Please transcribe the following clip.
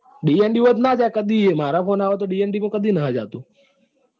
dnd હોય તો નાં જાય કદીએ માર ફોન આવે તો dnd તો કદી નથી જતું.